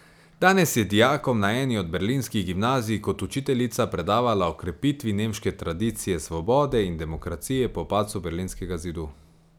Danes je dijakom na eni od berlinskih gimnazij kot učiteljica predavala o krepitvi nemške tradicije svobode in demokracije po padcu berlinskega zidu.